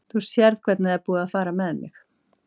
Þú sérð nú hvernig það er búið að fara með mig.